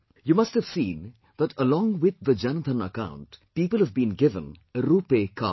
You must have seen that along with the Jan Dhan account people have been given a RuPay card